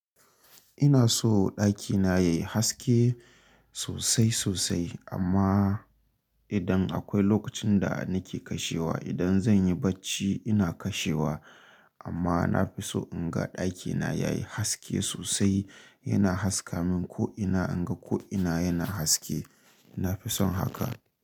Ina so ɗakina yayi haske sosai sosai amma idan akwai lokacin da nake kashewa, idan zan yi bacci ina kashewa amma na fi so in ga ɗakina yayi haske sosai. Yana haska min ko ina in ga ko ina yana haske. Na fi son haka.